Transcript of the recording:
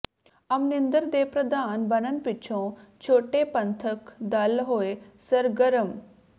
ਅਮਰਿੰਦਰ ਦੇ ਪ੍ਰਧਾਨ ਬਣਨ ਪਿੱਛੋਂ ਛੋਟੇ ਪੰਥਕ ਦਲ ਹੋਏ ਸਰਗਰਮ